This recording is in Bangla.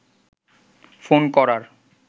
ফোন করার